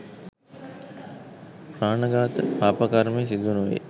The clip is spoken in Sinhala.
ප්‍රාණඝාත පාප කර්මය සිදුනොවේ.